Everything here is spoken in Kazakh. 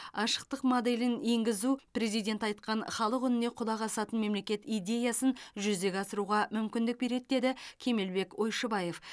ашықтық моделін енгізу президент айтқан халық үніне құлақ асатын мемлекет идеясын жүзеге асыруға мүмкіндік береді деді кемелбек ойшыбаев